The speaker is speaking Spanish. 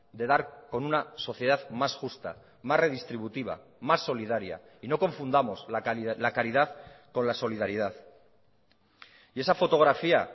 de dar con una sociedad más justa más redistributiva más solidaria y no confundamos la caridad con la solidaridad y esa fotografía